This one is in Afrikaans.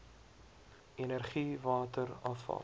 energie water afval